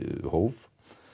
hóf